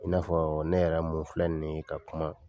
I n'a fɔ ne yɛrɛ mun fila nin ye ka kuma.